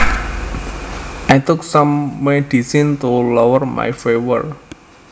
I took some medicine to lower my fever